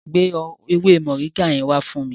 Gbé ewé Moringa yẹn wá fún mi.